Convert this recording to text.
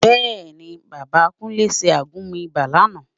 Bẹ́ẹ̀ ni, Bàbá Kúnlé ṣe àgúnmu ibà lánàá